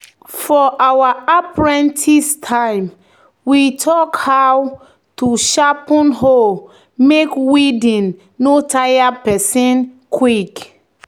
"for our apprentice time we talk how to sharpen hoe make weeding no tire person quick."